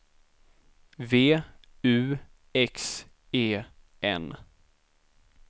V U X E N